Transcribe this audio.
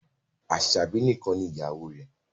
Aṣabi nìkàn ní ìyàwó rẹ